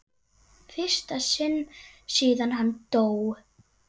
fyrsta sinn síðan hann dó.